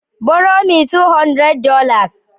Borrow metwoo hundred dollars